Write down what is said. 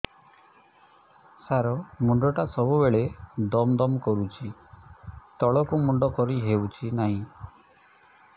ସାର ମୁଣ୍ଡ ଟା ସବୁ ବେଳେ ଦମ ଦମ କରୁଛି ତଳକୁ ମୁଣ୍ଡ କରି ହେଉଛି ନାହିଁ